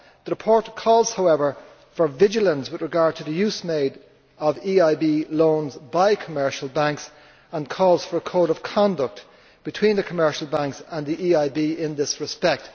The report calls, however, for vigilance with regard to the use made of EIB loans by commercial banks, and for a code of conduct between the commercial banks and the EIB in this respect.